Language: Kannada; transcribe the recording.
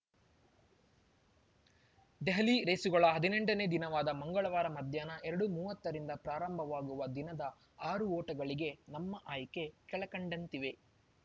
ದೆಹಲಿ ರೇಸುಗಳ ಹದಿನೆಂಟನೇ ದಿನವಾದ ಮಂಗಳವಾರ ಮಧ್ಯಾಹ್ನ ಎರಡು ಮೂವತ್ತರಿಂದ ಪ್ರಾರಂಭವಾಗುವ ದಿನದ ಆರು ಓಟಗಳಿಗೆ ನಮ್ಮ ಆಯ್ಕೆ ಕೆಳಕಂಡಂತಿವೆ